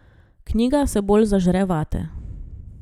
Knjiga se bolj zažre vate.